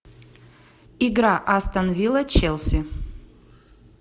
игра астон вилла челси